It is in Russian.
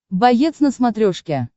боец на смотрешке